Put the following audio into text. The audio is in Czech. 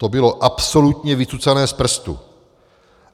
To bylo absolutně vycucané z prstu.